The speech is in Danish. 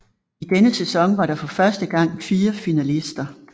I denne sæson var der for første gang fire finalister